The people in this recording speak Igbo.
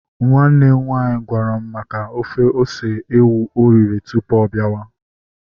Nwanne m nwaanyị gwara m maka ofe ose ewu oriri tụpụ ọ biawa